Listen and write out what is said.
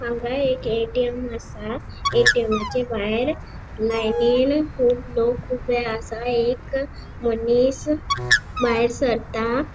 हांगा एक ए.टी.एम. आसा ए.टी.एमा.चे भायर लाइनीन कुब लोक ऊबे आसा एक मनिस भायर सरता.